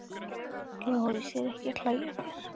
LÁRUS: Ég er ekki að hlæja að þér.